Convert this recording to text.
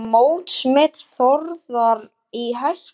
Er mótsmet Þórðar í hættu?